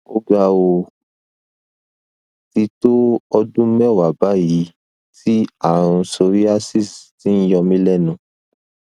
oga o ti tó ọdún mẹwàá báyìí tí ààrùn psoriasis ti ń yọ mí lẹnu